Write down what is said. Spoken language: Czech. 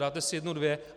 Dáte si jedno, dvě.